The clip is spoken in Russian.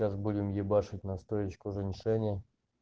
сейчас будем ебашить настоичку женьшеня